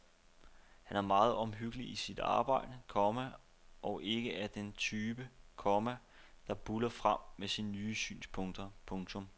Han er meget omhyggelig i sit arbejde, komma og ikke af den type, komma der buldrer frem med sine synspunkter. punktum